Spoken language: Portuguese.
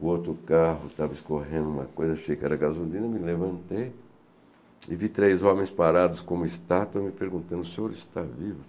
O outro carro estava escorrendo uma coisa, achei que era gasolina, me levantei e vi três homens parados como estátuas me perguntando, o senhor está vivo?